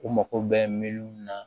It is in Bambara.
U mago bɛ miliw na